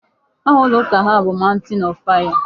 Aha ụlọ ụka ha bụ Mountain of fire.